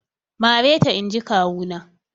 Mareta inji kawu na!